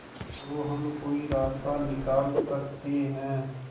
तो हम कोई रास्ता निकाल सकते है